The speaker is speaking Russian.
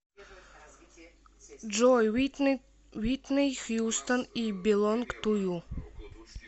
джой уитни хьюстон ай белонг ту ю